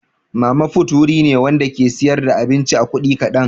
Mama fut wuri ne Wanda ke siyar da abinci a kudi kadan.